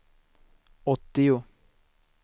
åttio